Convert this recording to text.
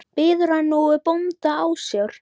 Biður hann nú bónda ásjár.